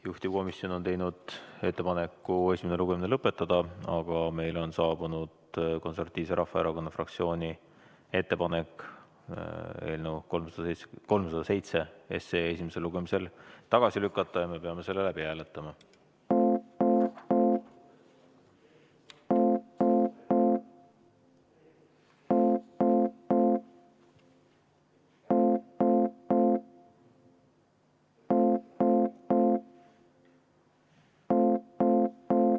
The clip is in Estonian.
Juhtivkomisjon on teinud ettepaneku esimene lugemine lõpetada, aga meile on saabunud Eesti Konservatiivse Rahvaerakonna fraktsiooni ettepanek eelnõu 307 esimesel lugemisel tagasi lükata ja me peame selle läbi hääletama.